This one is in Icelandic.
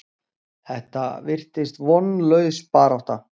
Þetta virtist vonlaus barátta.